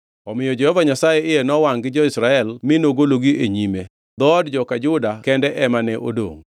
Omiyo Jehova Nyasaye iye nowangʼ gi jo-Israel mi nogologi e nyime. Dhood joka Juda kende ema ne odongʼ,